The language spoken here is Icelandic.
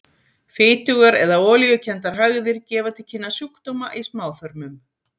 Fitugar eða olíukenndar hægðir gefa til kynna sjúkdóma í smáþörmum.